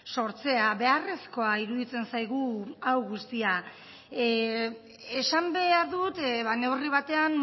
sortzea beharrezkoa iruditzen zaigu hau guztia esan behar dut neurri batean